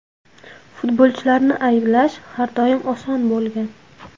Futbolchilarni ayblash har doim oson bo‘lgan.